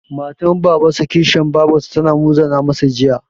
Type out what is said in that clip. Matar Babansa/ Kishiyar Babarsa ta muzana masa Jiya.